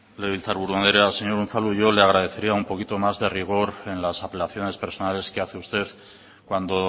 legebiltzarburu andrea señor unzalu yo le agradecería un poquito más de rigor en las apelaciones personales que hace usted cuando